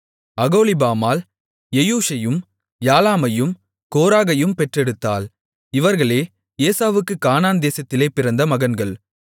அகோலிபாமாள் எயூஷையும் யாலாமையும் கோராகையும் பெற்றெடுத்தாள் இவர்களே ஏசாவுக்குக் கானான் தேசத்திலே பிறந்த மகன்கள்